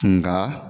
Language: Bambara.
Nka